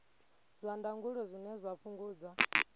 zwa ndangulo zwine zwa fhungudza